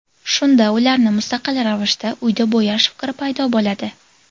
Shunda ularni mustaqil ravishda, uyda bo‘yash fikri paydo bo‘ladi.